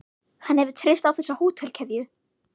Hann hefur treyst á þessa hótelkeðju.